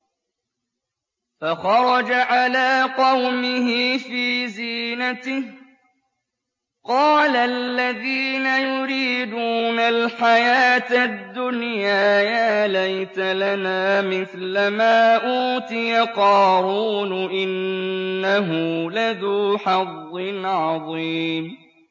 فَخَرَجَ عَلَىٰ قَوْمِهِ فِي زِينَتِهِ ۖ قَالَ الَّذِينَ يُرِيدُونَ الْحَيَاةَ الدُّنْيَا يَا لَيْتَ لَنَا مِثْلَ مَا أُوتِيَ قَارُونُ إِنَّهُ لَذُو حَظٍّ عَظِيمٍ